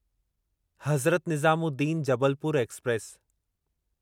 Hazrat Nizamuddin Jabalpur express